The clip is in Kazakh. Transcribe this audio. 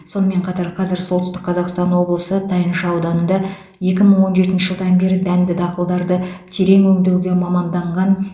сонымен қатар қазір солтүстік қазақстан облысы тайынша ауданында екі мың он жетінші жылдан бері дәнді дақылдарды терең өңдеуге маманданған